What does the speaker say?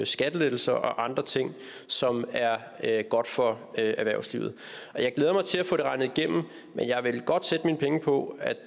skattelettelser og andre ting som er godt for erhvervslivet jeg glæder mig til at få det regnet igennem men jeg vil godt sætte mine penge på at